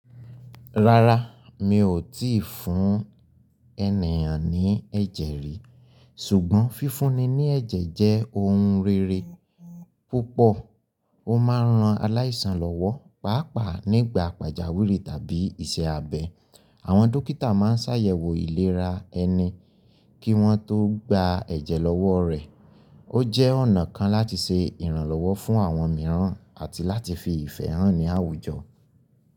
Rárá, mi ò tíì fún ènìyàn ní ẹ̀jẹ̀ rìí. Ṣùgbọ́n fífúnni ní ẹ̀jẹ̀ jẹ́ ohun rere púpọ̀, ó máa ń ran aláìsàn lọ́wọ́, pàápàá nígbà pàjáwìrì tàbí iṣẹ́ abẹ. Àwọn dókítà máa ń ṣàyẹ̀wò ìlera ẹni kí wọ́n tó gba ẹ̀jẹ̀ lọ́wọ́ rẹ̀. Ó jẹ́ ọ̀nà kan láti ṣe ìrànlọ́wọ́ fún àwọn mìíràn àti láti fi ìfẹ́ hàn ní àwùjọ.